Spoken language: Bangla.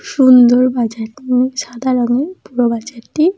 সুন্দর সাদা রঙের পুরো বাজারটি।